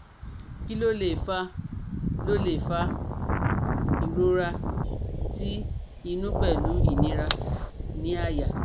Kí ló lè fa ló lè fa ìrora ti inu pelu inira ni aya?